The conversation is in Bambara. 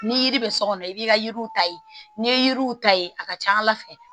Ni yiri bɛ so kɔnɔ i b'i ka yiriw ta yen n'i ye yiriw ta ye a ka ca ala fɛ